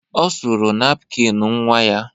Ọ suru napkin nnwa ya.